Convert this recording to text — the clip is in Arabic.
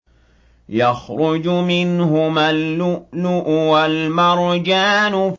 يَخْرُجُ مِنْهُمَا اللُّؤْلُؤُ وَالْمَرْجَانُ